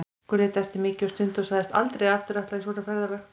Gulli dæsti mikið og stundi og sagðist aldrei aftur fara í svona ferðalag.